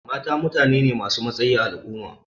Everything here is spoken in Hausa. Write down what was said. Mata mutane ne ma su matsayi a al'umma